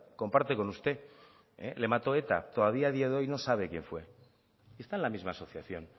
comparte con usted le mató eta y todavía a día de hoy no sabe quien fue está en la misma asociación